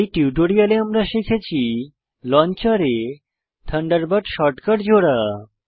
এই টিউটোরিয়াল আমরা শিখেছি লঞ্চার এ থান্ডারবার্ড শর্টকাট জোড়া